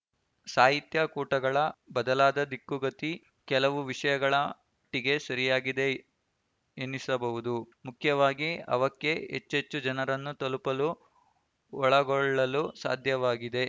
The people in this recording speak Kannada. ಸಾಹಿತ್ಯ ಕೂಟಗಳ ಬದಲಾದ ದಿಕ್ಕುಗತಿ ಕೆಲವು ವಿಷಯಗಳ ಮಟ್ಟಿಗೆ ಸರಿಯಾಗಿದೆ ಎನ್ನಿಸಬಹುದು ಮುಖ್ಯವಾಗಿ ಅವಕ್ಕೆ ಹೆಚ್ಚೆಚ್ಚು ಜನರನ್ನು ತಲುಪಲು ಒಳಗೊಳ್ಳಲು ಸಾಧ್ಯವಾಗಿದೆ